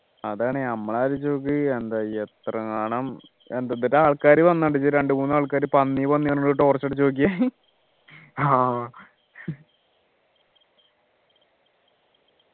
അതാണ് നമ്മൾ ആലോചിച്ചു നോക്കി എന്താ എത്ര നാളും എന്തൊക്കെ ആൾക്കാരും വന്നു രണ്ടുമൂന്ന് ആൾക്കാരെ പന്നി പന്നി പറഞ്ഞു torch അടിച്ചു നോക്കിയെ